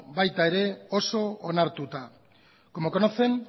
baita oso onartuta ere como conocen